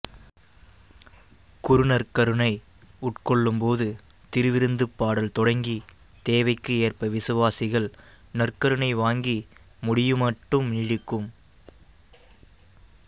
குரு நற்கருணை உட்கொள்ளும் போது திருவிருந்துப் பாடல் தொடங்கி தேவைக்கு ஏற்ப விசுவாசிகள் நற்கருணை வாங்கி முடியுமட்டும் நீடிக்கும்